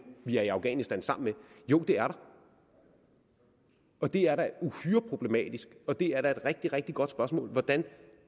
vi er i afghanistan sammen med jo det er der og det er da uhyre problematisk og det er da et rigtig rigtig godt spørgsmål hvordan